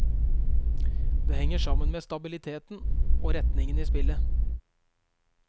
Det henger sammen med stabiliteten og retningen i spillet.